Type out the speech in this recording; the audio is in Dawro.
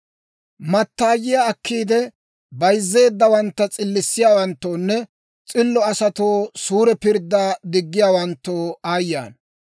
Mattaayiyaa akkiide, bayzzeeddawantta s'illissiyaawanttoonne s'illo asatoo suure pirddaa diggiyaawanttoo aayye ana!